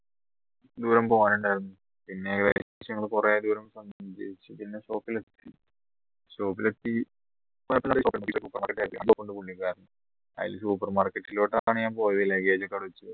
ദൂരം പോവാൻ ഉണ്ടായിരുന്നു പിന്നെ ഞങ്ങളെ കുറെ ദൂരം shop ൽ എത്തി അയിൽ super market ലോട്ടെക്കാ ഞാൻ പോയത് luggag